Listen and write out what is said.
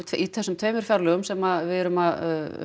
í þessum tveimur fjárliðum sem við erum að